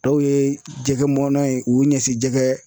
Dɔw ye jɛgɛ mɔna ye, u y'u ɲɛsin jɛgɛ